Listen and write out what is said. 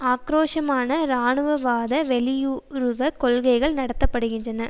ஆக்கிரோஷமான இராணுவவாத வெளியுறவு கொள்கைகள் நடத்த படுகின்றன